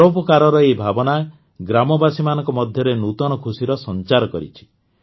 ପରୋପକାରର ଏହି ଭାବନା ଗ୍ରାମବାସୀମାନଙ୍କ ମଧ୍ୟରେ ନୂତନ ଖୁସିର ସଂଚାର କରିଛି